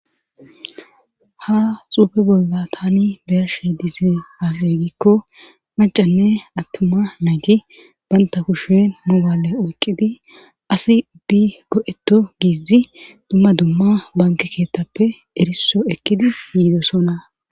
Ha xuufe bolla tani bearshe diizie asi giikko macanne attuma nayti banta kushe nu bale oyqqidi asi bi go'etto giizi dumma dumma banke keettappe eriso ekkidi yiidosona